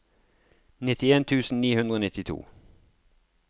nittien tusen ni hundre og nittito